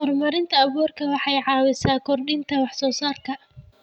Horumarinta abuurku waxay caawisaa kordhinta wax soo saarka.